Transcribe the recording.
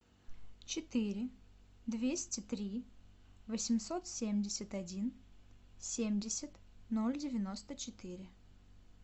четыре двести три восемьсот семьдесят один семьдесят ноль девяносто четыре